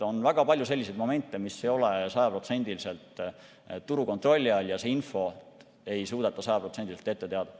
On väga palju selliseid momente, mis ei ole sajaprotsendiliselt turu kontrolli all, ja seda infot ei suudeta sajaprotsendiliselt ette teada.